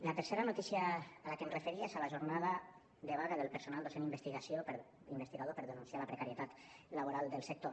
la tercera notícia a la que em referia és a la jornada de vaga del personal docent investigador per denunciar la precarietat laboral del sector